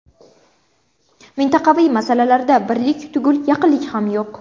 Mintaqaviy masalalarda birlik tugul yaqinlik ham yo‘q.